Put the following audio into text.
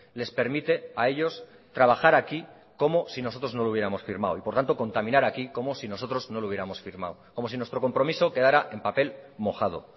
les permite a ellos trabajar aquí como si nosotros no lo hubiéramos firmado y por tanto contaminar aquí como si nosotros no lo hubiéramos firmado como si nuestro compromiso quedara en papel mojado